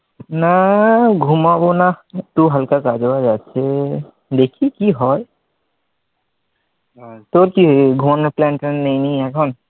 না ঘুমাবো না একটু হালকা কাজ বাজ আছে দেখি কি হয়? তোর কি ঘুমানোর plan ট্যান নাই নাকি এখন?